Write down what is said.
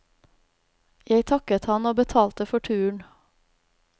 Jeg takket han og betalte for turen.